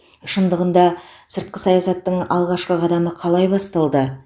шындығында сыртқы саясаттың алғашқы қадамы қалай басталды